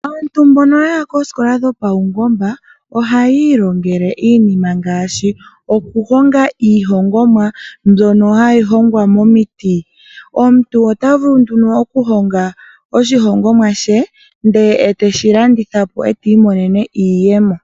Aantu mbono yaya poosikola dhopaungomba ohaya ilongele iinima ngaashi okuhonga iinima mbyono hayi hongwa momiti. Omuntu ota vulu nduno okuhonga oshihongomwa she ndele eteshi landitha po etii monene iiyemo.